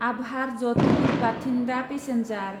Abohar Jodhpur Bathinda passenger